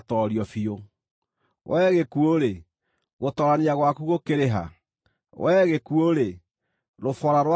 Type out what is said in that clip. “Wee gĩkuũ-rĩ, gũtoorania gwaku gũkĩrĩ ha? Wee gĩkuũ-rĩ, rũboora rwaku rũkĩrĩ ha?”